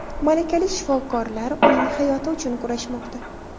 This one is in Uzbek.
Malakali shifokorlar uning hayoti uchun kurashmoqda.